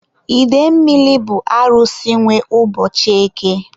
idemmili bụ Arusi nwe ụbọchị eke.